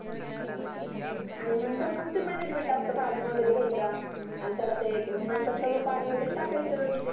आणि नंतर मग ते मॅनेजमेंट असतं भाजुन वगैरे घ्यायचा. आणि त्याला ते मग नंतर सगळ पाणी वगैरे टाकायचं व्यवस्थीत.